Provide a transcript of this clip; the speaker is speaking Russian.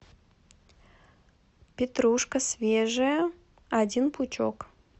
петрушка свежая один пучок